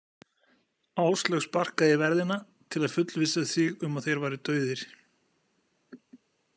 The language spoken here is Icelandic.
Áslaug sparkaði í verðina til að fullvissa sig um að þeir væru dauðir.